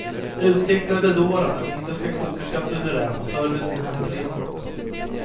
Utsikten är bedårande, den indiska kokerskan suverän och servicen hemtrevlig.